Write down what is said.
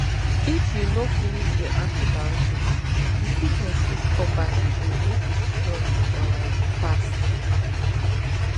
if you no finish your antibiotics the sickness fit come back again make e strong um pass